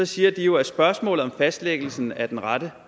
siger de jo at spørgsmålet om fastlæggelsen af den rette